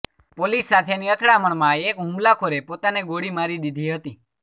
police સાથેની અથડામણમાં એક હુમલાખોરે પોતાને ગોળી મારી દીધી હતી